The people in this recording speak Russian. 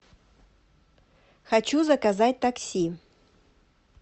хочу заказать такси